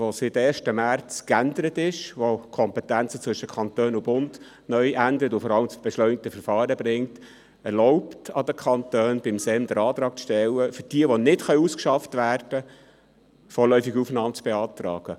Das seit dem 1. März 2019 geänderte AsylG, das die Kompetenzen zwischen Kanton und Bund ändert und vor allem das beschleunigte Verfahren bringt, erlaubt es den Kantonen, für jene, die nicht ausgeschafft werden können, beim SEM einen Antrag auf vorläufige Aufnahme zu stellen.